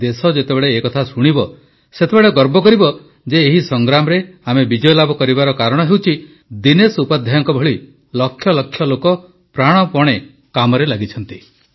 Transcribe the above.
ଦେଶ ଯେତେବେଳେ ଏ କଥା ଶୁଣିବ ସେତେବେଳେ ଗର୍ବ କରିବ ଯେ ଏହି ସଂଗ୍ରାମରେ ଆମେ ବିଜୟ ଲାଭ କରିବାର କାରଣ ହେଉଛି ଦିନେଶ ଉପାଧ୍ୟାୟଙ୍କ ଭଳି ଲକ୍ଷ ଲକ୍ଷ ଲୋକ ପ୍ରାଣପଣେ କାମରେ ଲାଗିଛନ୍ତି